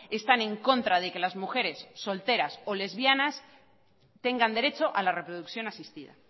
están en contra de que las mujeres solteras o lesbianas tengan derecho a la reproducción asistida